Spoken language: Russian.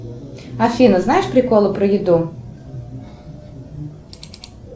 афина знаешь приколы про еду